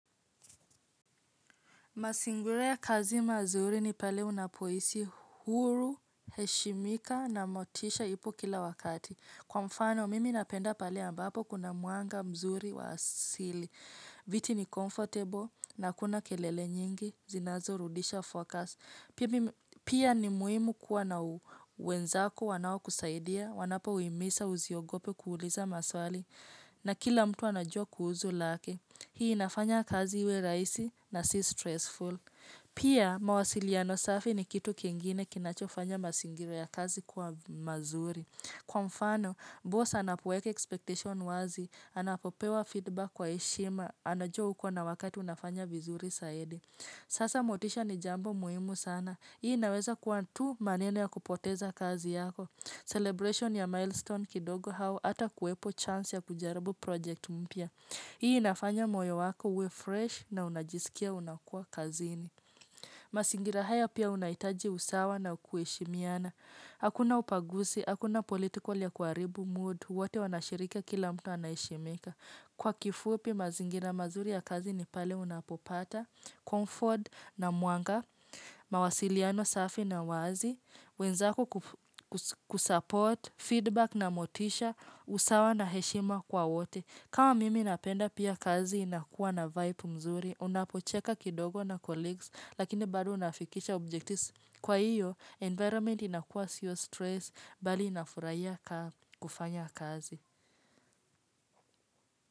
Mazingira ya kazi mazuri ni pale unapohisi huru, heshimika na motisha ipo kila wakati. Kwa mfano, mimi napenda pale ambapo kuna mwanga mzuri wa asili. Viti ni comfortable na hakuna kelele nyingi, zinazorudisha focus. Pia ni muhimu kuwa na wenzako wanao kusaidia, wanapo himiza usiogope kuuliza maswali na kila mtu anajua kuhusu lake. Hii inafanya kazi iwe rahisi na si stressful. Pia mawasiliano safi ni kitu kingine kinachofanya mazingira ya kazi kuwa mazuri. Kwa mfano, boss anapoweka expectation wazi. Anapopewa feedback kwa heshima. Anajua uko na wakati unafanya vizuri zaidi. Sasa motisha ni jambo muhimu sana. Hii inaweza kuwa tu maneno ya kupoteza kazi yako. Celebration ya milestone kidogo au hata kuwepo chance ya kujaribu project mpya. Hii inafanya moyo wako uwe fresh na unajisikia unakua kazini. Mazingira haya pia unahitaji usawa na kuheshimiana. Hakuna ubaguzi, hakuna political ya kuharibu mood, wote wanashiriki kila mtu anaheshimika. Kwa kifupi mazingira mazuri ya kazi ni pale unapopata, comfort na mwanga, mawasiliano safi na wazi, wenzako kusupport feedback na motisha, usawa na heshima kwa wote. Kama mimi napenda pia kazi inakuwa na vybe mzuri, unapocheka kidogo na colleagues, lakini bado unafikisha objectives. Kwa hio, environment inakuwa sio stress, bali nafurahia kufanya kazi.